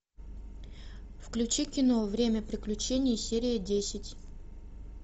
включи кино время приключений серия десять